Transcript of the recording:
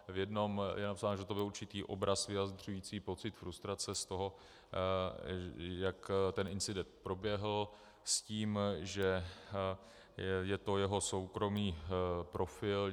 V jednom je napsáno, že to byl určitý obraz vyjadřující pocit frustrace z toho, jak ten incident proběhl, s tím, že je to jeho soukromý profil.